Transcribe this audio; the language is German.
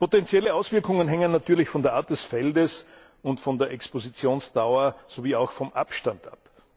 Potenzielle Auswirkungen hängen natürlich von der Art des Feldes und von der Expositionsdauer sowie auch vom Abstand ab.